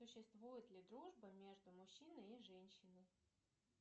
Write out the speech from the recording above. существует ли дружба между мужчиной и женщиной